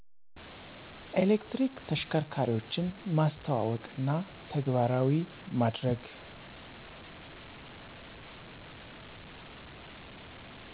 ኤሌክትሪክ ተሽከርካሪዎችን ማስተዋወቅና ተግባራዊ ማድርግ።